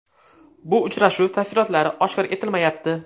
Bu uchrashuv tafsilotlari oshkor etilmayapti.